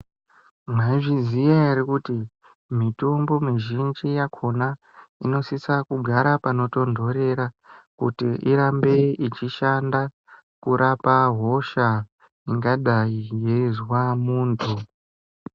Mwaizviziya ere kuti mitombo ,muzhinji yakhona, inosisa kugara panotontorera kuti irambe ichishanda kurapa hosha, ingadai yeizwa muntu.